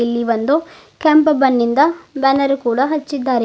ಇಲ್ಲಿ ಒಂದು ಕೆಂಪ ಬನ್ನಿಂದ ಬ್ಯಾನರ್ ಕೂಡ ಹಚ್ಚಿದ್ದಾರೆ.